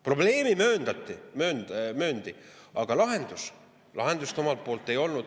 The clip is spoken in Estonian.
Probleemi mööndi, aga lahendust omalt poolt ei.